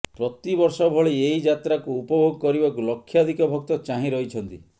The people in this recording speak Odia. ପ୍ରତି ବର୍ଷ ଭଳି ଏହି ଯାତ୍ରାକୁ ଉପଭୋଗ କରିବାକୁ ଲକ୍ଷାଧିକ ଭକ୍ତ ଚାହିଁ ରହିଛନ୍ତି